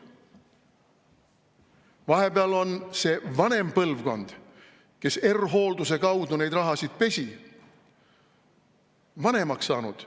Vahepeal on see vanem põlvkond, kes R-Hoolduse kaudu neid rahasid pesi, vanemaks saanud.